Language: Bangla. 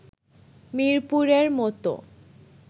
মিরপুরের মতো